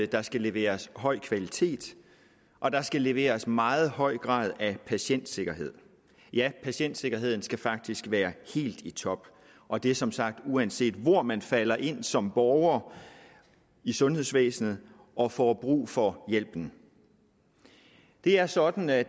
der skal leveres høj kvalitet og der skal leveres en meget høj grad af patientsikkerhed ja patientsikkerheden skal faktisk være helt i top og det er som sagt uanset hvor man falder ind som borger i sundhedsvæsenet og får brug for hjælpen det er sådan at